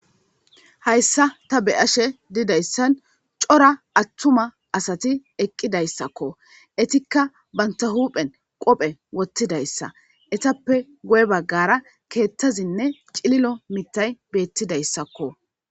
Hayssa ta beashe diizayssan coora attuma asati eqqidayssako eetika bantta huphphen qoppe woththidaysa eetappe guye baggara keththazinne ciililo miththay bettidayssakko.